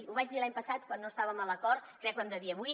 ho vaig dir l’any passat quan no estàvem a l’acord i crec que ho hem de dir avui